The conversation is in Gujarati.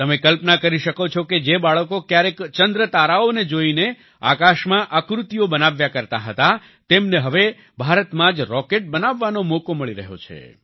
તમે કલ્પના કરી શકો છો કે જે બાળકો ક્યારેક ચંદ્રતારાઓને જોઈને આકાશમાં આકૃતિઓ બનાવ્યા કરતાં હતા તેમને હવે ભારતમાં જ રોકેટ બનાવવાનો મોકો મળી રહ્યો છે